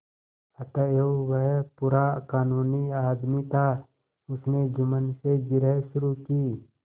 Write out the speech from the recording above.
अतएव वह पूरा कानूनी आदमी था उसने जुम्मन से जिरह शुरू की